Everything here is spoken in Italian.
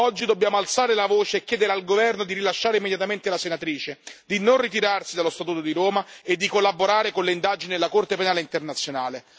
Oggi dobbiamo alzare la voce e chiedere al governo di rilasciare immediatamente la senatrice, di non ritirarsi dallo statuto di Roma e di collaborare con le indagini della Corte penale internazionale.